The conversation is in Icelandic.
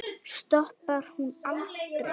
Stoppar hún aldrei?